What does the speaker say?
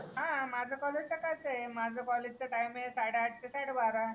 हां माझं कॉलेज सकाळचं आहे माझ्या कॉलेजचं टाइम आहे साडे आठ ते साडे बारा.